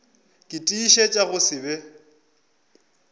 ke tiišetša go se be